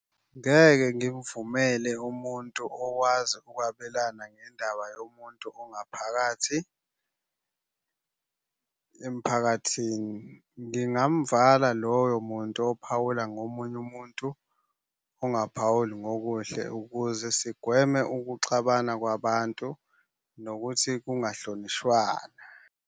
Ngeke ngimvumele umuntu okwazi ukwabelana ngendaba yomuntu ongaphakathi emphakathini. Ngingamvala loyo muntu ophawula ngomunye umuntu. Ongaphawuli ngokuhle ukuze sigweme ukuxabana kwabantu nokuthi kungahlonishwana.